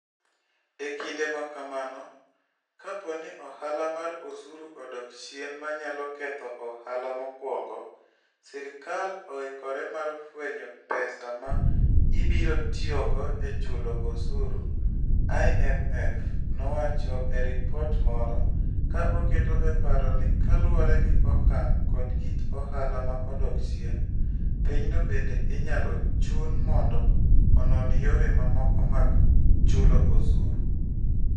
E kinde ma kamano, kapo ni ohala mar osuru odok chien ma nyalo ketho ohala mokwongo... sirkal oikore mar fwenyo pesa ma ibiro tiyogo e chulo osuru, IMF nowacho e ripot moro, ka oketo e paro ni kaluwore gi okang' kod kit ohala ma odok chien, pinyno bende inyalo chun mondo onon yore mamoko mag chulo osuru.